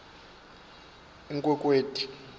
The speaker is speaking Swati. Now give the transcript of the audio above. inkhwekhweti